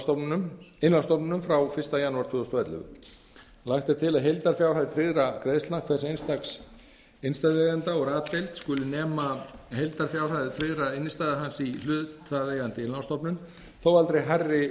frá innlánsstofnunum frá fyrsta janúar tvö þúsund og ellefu lagt er til að heildarfjárhæð tryggðra greiðslna hvers einstaks innstæðueiganda úr a deild skuli nema heildarfjárhæð tryggðra innstæðna hans í hlutaðeigandi innlánsstofnun þó aldrei hærri